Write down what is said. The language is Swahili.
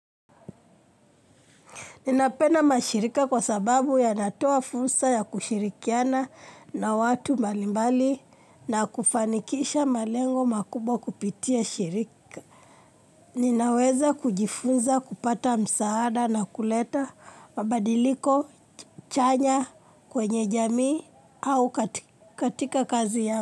Ninapena mashirika kwa sababu yanatoa fursa ya kushirikiana na watu malimbali na kufanikisha malengo makubwa kupitia shirika. Ninaweza kujifunza kupata msaada na kuleta mabadiliko, chanya kwenye jamii au katika kazi ya.